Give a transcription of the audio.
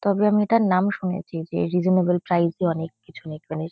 তবে আমি এটার নাম শুনেছি যে রিসোনেবেল প্রাইস -এ অনেককিছু এখানের --